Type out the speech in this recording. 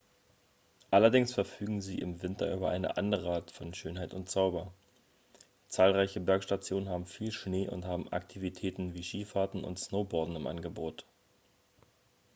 allerdings verfügen sie im winter über eine andere art von schönheit und zauber zahlreiche bergstationen haben viel schnee und haben aktivitäten wie skifahren und snowboarden im angebot